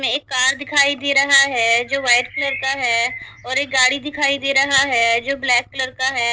इस में एक कार दिखाई दे रहा है जो वाइट कलर का है और एक गाड़ी दिखाई दे रहा है जो ब्लैक कलर का है।